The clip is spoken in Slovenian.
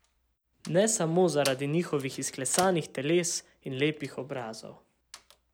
Ne samo zaradi njihovih izklesanih teles in lepih obrazov.